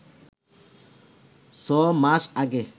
ছ মাস আগে